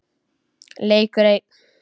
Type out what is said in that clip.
Leikur einn.